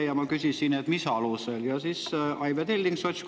Ja ma küsisin, mis alusel.